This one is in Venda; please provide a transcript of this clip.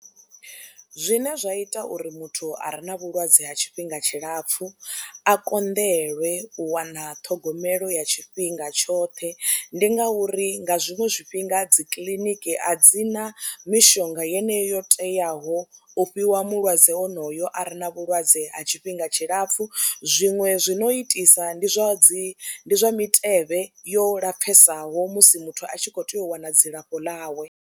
Zwine zwa ita uri muthu a re na vhulwadze ha tshifhinga tshilapfhu a konḓeliwe u wana ṱhogomelo ya tshifhinga tshoṱhe ndi ngauri nga zwiṅwe zwifhinga dzi kiḽiniki a dzi na mishonga yeneyo yo teaho u fhiwa mulwadze onoyo a re na vhulwadze ha tshifhinga tshilapfhu, zwiṅwe zwi no itisa ndi zwa dzi zwa mitevhe yo lapfhesaho musi muthu a tshi khou tea u wana dzilafho ḽawe.